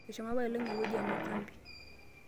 ashomo apailong' ewueji ee makambi